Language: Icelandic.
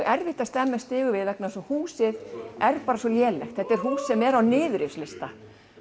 erfitt að stemma stigu við vegna þess að húsið er bara svo lélegt þetta er hús sem er á